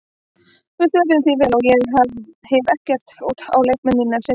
Við svöruðum því vel og ég hef ekkert út á leikmenn mína að setja.